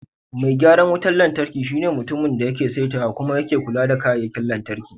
Mai gyaran wutar lantarki shine mutumin da yake saitawa kuma yake kula da kayayyakin lantarki.